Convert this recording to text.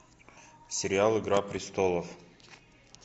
сериал игра престолов